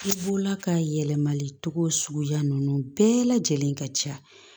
I bɔla ka yɛlɛmali cogo suguya ninnu bɛɛ lajɛlen ka ca